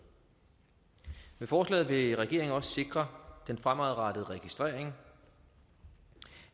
forslaget vil regeringen også sikre den fremadrettede registrering